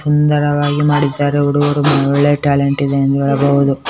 ಸುಂದರವಾಗಿ ಮಾಡಿದ್ದಾರೆ ಹುಡುಗರು ಒಳ್ ಒಳ್ಳೋಳ್ಳೆ ಟ್ಯಾಲೆಂಟ್ ಇದೆ ಎಂದು ಹೇಳಬಹದು.